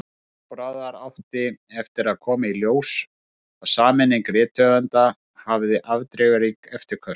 Von bráðar átti eftir að koma í ljós að sameining rithöfunda hafði afdrifarík eftirköst.